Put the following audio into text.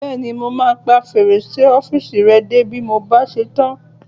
Bẹ́ẹ̀ni, mo máa pa fèrèsé ọ́fìsì rẹ dé bí mo bá ṣe tán